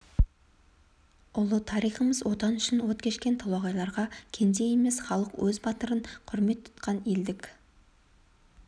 ұлы тарихымыз отан үшін от кешкен толағайларға кенде емес халық өз батырын құрмет тұтқан елдік